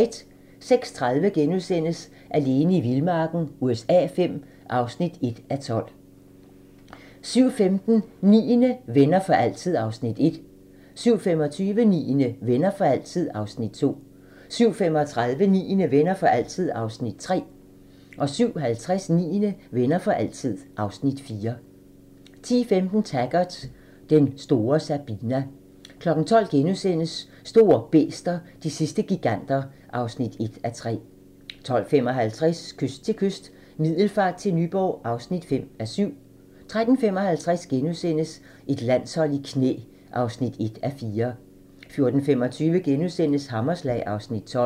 06:30: Alene i vildmarken USA V (1:12)* 07:15: Niende - Venner for altid (Afs. 1) 07:25: Niende - Venner for altid (Afs. 2) 07:35: Niende - Venner for altid (Afs. 3) 07:50: Niende - Venner for altid (Afs. 4) 10:15: Taggart: Den store Sabina 12:00: Store bæster - de sidste giganter (1:3)* 12:55: Kyst til kyst - Middelfart til Nyborg (5:7) 13:55: Et landshold i knæ (1:4)* 14:25: Hammerslag (Afs. 12)*